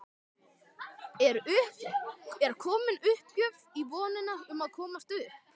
Er komin uppgjöf í vonina um að komast upp?